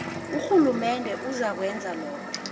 urhulumende uzakwenza lokhu